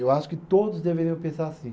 Eu acho que todos deveriam pensar assim.